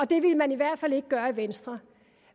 det ville man i hvert fald ikke gøre i venstre